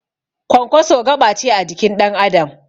Kwankwaso gaɓace a jikin ɗan Adam